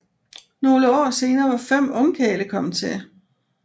Nogle år senere var fem ungkarle kommet til